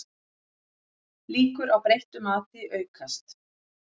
Líkur á breyttu mati aukast